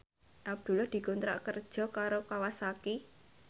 Abdullah dikontrak kerja karo Kawasaki